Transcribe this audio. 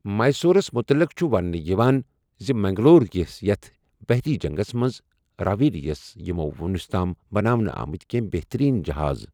میسوٗرس متعلق چھہُ وننہٕ یوان زِ منگلور کِس یتھ بحری جنگس منز راویریس یمو وُنس تام بناونہٕ آمٕتی کیٚنٛہ بهترین جہازٕ۔